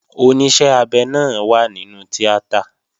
Oníṣẹ́ abẹ náà wà nínú tíátà